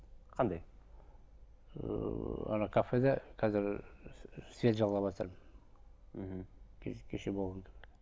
қандай ыыы ана кафеде қазір связь жалғаватырмын мхм кеше болған кафе